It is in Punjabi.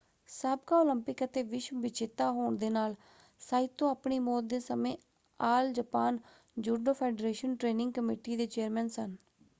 ਸਾਬਕਾ ਓਲੰਪਿਕ ਅਤੇ ਵਿਸ਼ਵ ਵਿਜੇਤਾ ਹੋਣ ਦੇ ਨਾਲ ਸਾਈਤੋ ਆਪਣੀ ਮੌਤ ਦੇ ਸਮੇਂ all Japan judo federation training committee ਦੇ ਚੇਅਰਮੈਨ ਸਨ।